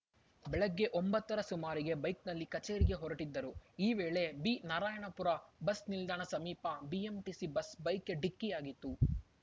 ಬೆಳಗ್ಗೆ ಒಂಬತ್ತರ ಸುಮಾರಿಗೆ ಬೈಕ್‌ನಲ್ಲಿ ಕಚೇರಿಗೆ ಹೊರಟ್ಟಿದ್ದರು ಈ ವೇಳೆ ಬಿನಾರಾಯಣಪುರ ಬಸ್‌ ನಿಲ್ದಾಣ ಸಮೀಪ ಬಿಎಂಟಿಸಿ ಬಸ್‌ ಬೈಕ್‌ಗೆ ಡಿಕ್ಕಿಯಾಗಿತ್ತು